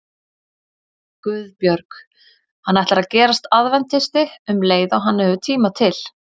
GUÐBJÖRG: Hann ætlar að gerast aðventisti um leið og hann hefur tíma til.